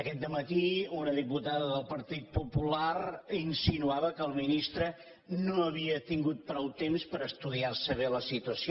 aquest dematí una diputada del partit popular insinuava que el ministre no havia tingut prou temps per estudiar se bé la situació